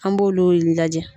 An b'olu le lajɛ.